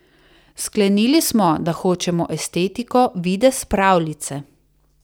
Sklenili smo, da hočemo estetiko, videz pravljice.